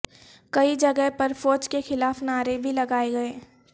کئی جگہ پر فوج کے خلاف نعرے بھی لگائے گئے